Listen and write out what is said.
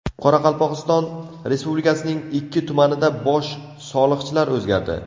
Qoraqalpog‘iston Respublikasining ikki tumanida bosh soliqchilar o‘zgardi.